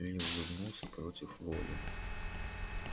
ли улыбнулся против воли